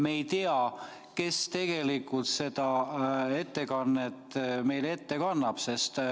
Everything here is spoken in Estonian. Me ei tea, kes tegelikult seda ettekannet meile ette kannab.